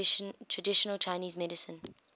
traditional chinese medicine